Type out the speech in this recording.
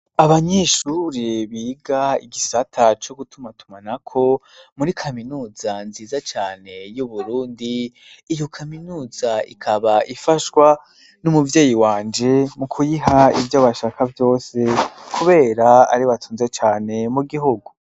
Abanyeshure biga igisata co gutumatumanako muri kaminuza nziza cane y'Uburundi iyo kaminuza ikaba ifashwa n'umuvyeyi wanje mu kuyiha ivyo bashaka vyose kubera ariwe atunze cane mu gihugu.